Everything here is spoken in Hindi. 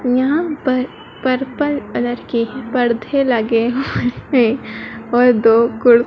यहाँ पर पर्पल कलर के पर्धे लगे हुए और दो--